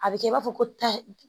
A bɛ kɛ i b'a fɔ ko ta